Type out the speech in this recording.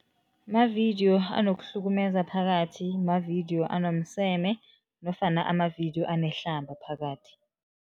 Mavidiyo anokuhlukumeza phakathi, mavidiyo anomseme nofana amavidiyo anehlamba phakathi.